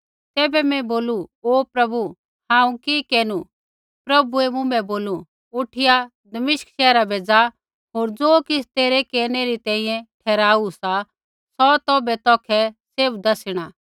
तैबै मैं बोलू हे प्रभु हांऊँ कि केरनु प्रभुऐ मुँभै बोलू उठिया दमिश्क शैहरा बै ज़ा होर ज़ो किछ़ तेरै केरनै री तैंईंयैं ठहराऊ सा सौ तौभै तौखै सैभ दैसिणा